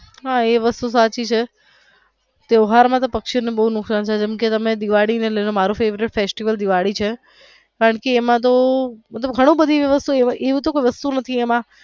હા એ વસ્તુ સાચી છે ત્યોહાર માં તો પક્ષી ને બો નુકશાન થાય છે જેમ કે તમે દિવાળી ને લઇ ને મારુ favourite festival દિવાળી છે કારણકે એમાં ઘણી બધું એવું તો કોઈ વસ્તુ નથી એમાં.